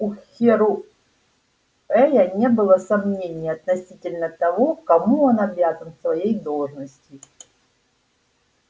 у херроуэя не было сомнений относительно того кому он обязан своей должностью